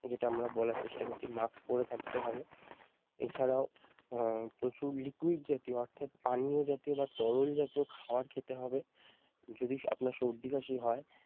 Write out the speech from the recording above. যেটা আমরা বলার চেষ্টা করছি মাস্ক পরে থাকতে হবে, এছাড়াও আহ প্রচুর liquid জাতীয় অর্থাৎ পানীয় জাতীয় বা তরল জাতীয় খাওয়ার খেতে হবে যদি আপনার সর্দি কাশি হয় ।